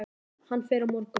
Hann fer á morgun.